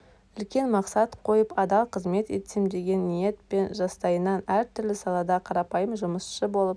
үлкен мақсат қойып адал қызмет етсем деген ниетпен жастайынан әр түрлі салада қарапайым жұмысшы болып